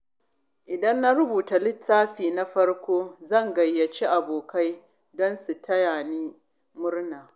Idan na rubuta littafina na farko, zan gayyaci abokai don su tayani murna.